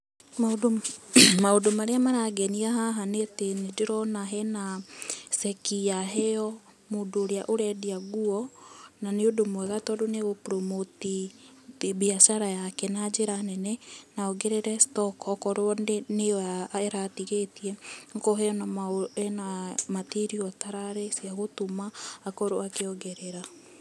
Maũndũ marĩa marangenia haha nĩ atĩ nĩ ndĩrona he na ceki yaheo mũndũ ũrĩa ũrendia nguo, na nĩ ũndũ mwega tondũ nĩ gũprũmũti biacara yake na njĩra nene, na oongerere stoko okorwo nĩyo aratigĩtie, okorwo ena matiriũ atararĩ cia gũtuma akorwo akĩongerera.